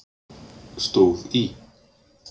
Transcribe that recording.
stóð í